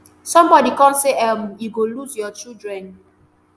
sombodi kon say um you go lose your children